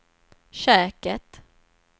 köket